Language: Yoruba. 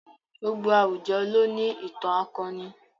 Gbogbo àwùjọ ló ní ìtàn akọni.